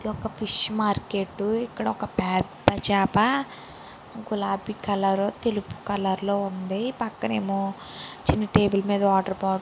ఇది ఒక fish market ఇక్కడ ఒక పెద్ద చాప గులాబీ కలర్ తెలుపు కలర్ లో ఉంది. పెక్కన ఎమో చిన్న టేబుల్ మేధ వాటర్ బాటిల్ --